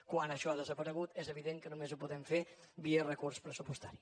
quan això ha desaparegut és evident que només ho podem fer via recurs pressupostari